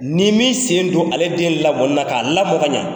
N'i m'i sen don ale den lamɔlila, k'a la mɔn ka ɲɛ.